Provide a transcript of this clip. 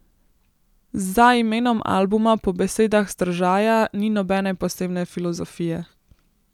Za imenom albuma po besedah Stržaja ni nobene posebne filozofije.